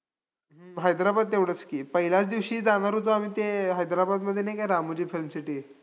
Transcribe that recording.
यांनी पाहिले लिहिलेल्या महात्मा फुले यांचा पहिल्या विस्तृत चरित्राचा.